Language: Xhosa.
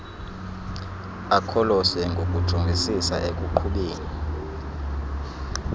akholose ngokujongisisa ekuqhubeni